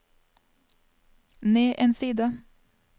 ned en side